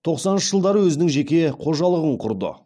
тоқсаныншы жылдары өзінің жеке қожалығын құрды